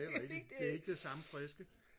det er rigtigt det er ikke det samme friske